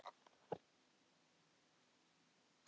Ottó Magnússon, bóndi í Sigmundarhúsum, slasaðist en Eiríkur